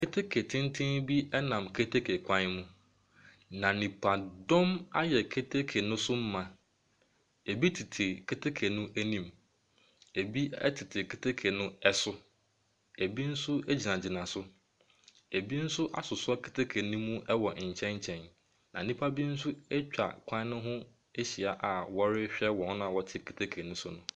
Keteke tenten bi nam keteke kwan mu, na nipadɔm ayɛ keteke no so ma. Ɛbi tete keteke no anim, ɛbi tete keteke no so, ɛbi nso gyinagyina so, ɛbi nmso asosɔ keteke no mu wɔ nkyɛn nkyɛn, na nnipa bi nso atwa kwan no ho ahyia a wɔrehwɛ wɔn a wɔte keteke no so no.